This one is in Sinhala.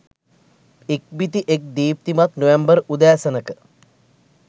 ඉක්බිති එක් දීප්තිමත් නොවැම්බර් උදෑසනක